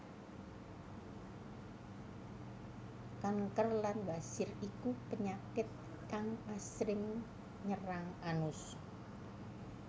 Kanker lan wasir iku penyakit kang asring nyerang anus